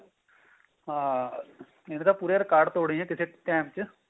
ਹਾਂ ਇਹਨੇ ਵੀ ਪੂਰੇ ਰਿਕਾਰਡ ਤੋੜੇ ਨੇ ਕਿਸੇ time ਚ